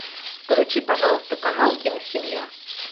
включи пожалуйста канал киносемья